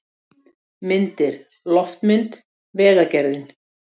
Myndir: Loftmynd: Vegagerðin.